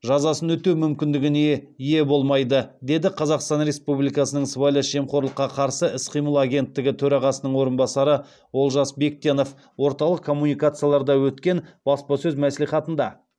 жазасын өтеу мүмкіндігіне ие болмайды деді қазақстан республикасының сыбайлас жемқорлыққа қарсы іс қимыл агенттігі төрағасының орынбасары олжас бектенов орталық коммуникацияларда өткен баспасөз мәслихатында